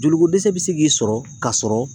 Joliko dɛsɛ bɛ se k'i sɔrɔ ka sɔrɔ